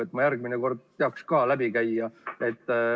Siis ma järgmine kord teaks ka läbi käia.